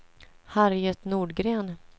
Harriet Nordgren